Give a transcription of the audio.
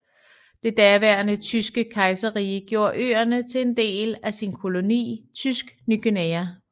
Det daværende Tyske Kejserrige gjorde øerne til en del af sin koloni Tysk Ny Guinea